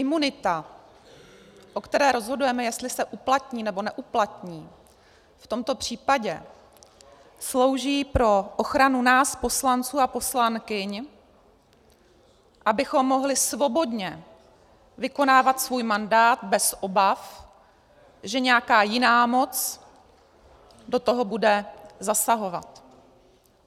Imunita, o které rozhodujeme, jestli se uplatní, nebo neuplatní, v tomto případě slouží pro ochranu nás poslanců a poslankyň, abychom mohli svobodně vykonávat svůj mandát bez obav, že nějaká jiná moc do toho bude zasahovat.